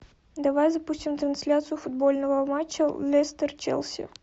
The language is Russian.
давай запустим трансляцию футбольного матча лестер челси